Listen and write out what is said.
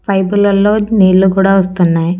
Pipe లల్లో నీళ్ళు కూడా వస్తున్నాయ్.